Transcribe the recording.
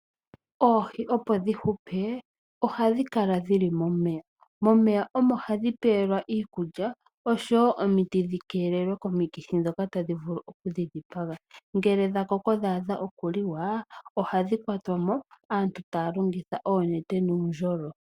Oohi opo dhi hupe, ohadhi kala dhili momeya, momeya omo hadhi pelwa iikulya , oshowo omiti dhi keelelwe komikithi dhoka tadhi vulu oku dhi dhipaga. Ngele dha koko dha adha okuliwa, ohadhi kwatwa mo , aantu taa longitha oonete nuundjolo.